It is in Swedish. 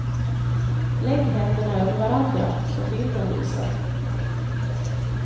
Lägg händerna över varandra, som bilden visar.